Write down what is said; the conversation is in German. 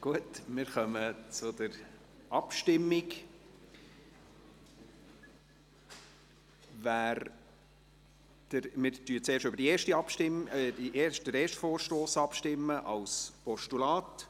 Gut, wir kommen zur Abstimmung und stimmen zuerst über den ersten Vorstoss ab, als Postulat.